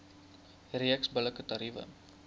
reeks billike tariewe